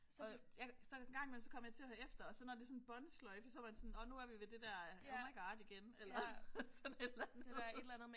Og ja så engang imellem så kom jeg til at høre efter og så de sådan båndsløjfe så var det sådan nåh så er vi ved det der oh my God igen. Eller sådan et eller andet